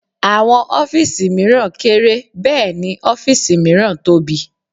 Àwọn ọ́fìsì mìíràn kéré Bẹ́ẹ̀ni ọ́fìsì miran tóbi